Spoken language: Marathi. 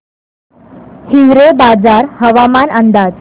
हिवरेबाजार हवामान अंदाज